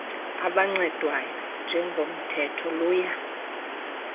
abancedwayo njengomthetho luya